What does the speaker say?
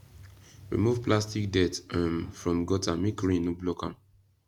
remove plastic dirt um from gutter make rain no block am